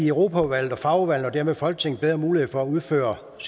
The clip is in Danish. europaudvalget og fagudvalgene og dermed folketinget bedre mulighed for at udføre